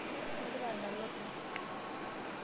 Igira adala openy?